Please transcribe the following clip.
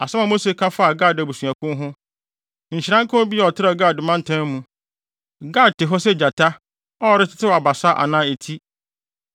Asɛm a Mose ka faa Gad abusuakuw ho: “Nhyira nka obi a ɔtrɛw Gad mantam mu! Gad te hɔ sɛ gyata a ɔretetew abasa anaa eti.